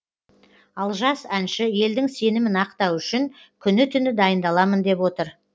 ал жас әнші елдің сенімін ақтау үшін күні түні дайындаламын деп отыр